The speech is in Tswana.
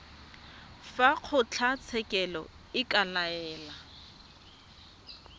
fa kgotlatshekelo e ka laela